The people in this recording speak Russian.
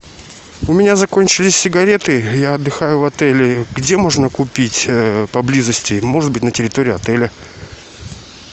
у меня закончились сигареты я отдыхаю в отеле где можно купить поблизости может быть на территории отеля